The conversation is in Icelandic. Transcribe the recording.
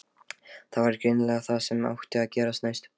Það var greinilega það sem átti að gerast næst.